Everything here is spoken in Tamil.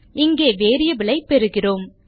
இங்கே வேரியபிள் ஐ பெறுகிறோம்